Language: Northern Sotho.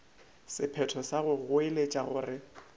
sephetho sa go goeletša gore